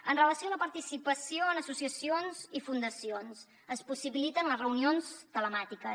amb relació a la participació en associacions i fundacions es possibiliten les reunions telemàtiques